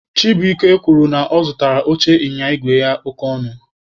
Chibuike kwuru na ya zụrụ oche ịnyịnya igwe ya oke ọnụ.